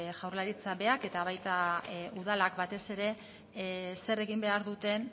jaurlaritza berak eta baita udalak batez ere zer egin behar duten